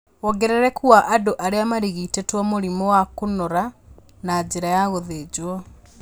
Wongerereku wa andũ arĩa marigitĩtũo mũrimũ wa kũnora na njĩra ya gũthinjwo